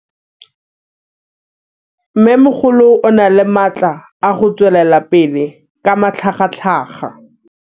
Mmêmogolo o na le matla a go tswelela pele ka matlhagatlhaga.